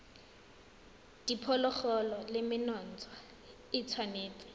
diphologolo le menontsha e tshwanetse